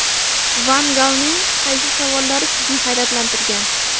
Van Galning qaysi savollari sizni hayratlantirgan?